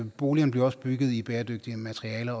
i boligerne bliver bygget i bæredygtige materialer